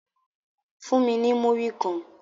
Fun mi ni muri kan